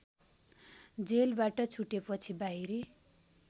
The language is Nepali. जेलबाट छुटेपछि बाहिरी